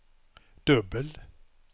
dubbel